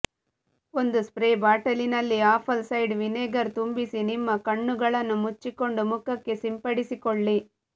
ಒಂದು ಸ್ಪ್ರೇ ಬಾಟಲಿನಲ್ಲಿ apple side vinegar ತುಂಬಿಸಿ ನಿಮ್ಮ ಕಣ್ಣುಗಳನ್ನು ಮುಚ್ಚಿಕೊಂಡು ಮುಖಕ್ಕೆ ಸಿಂಪಡಿಸಿಕೊಳ್ಳಿ